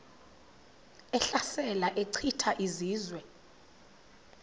ehlasela echitha izizwe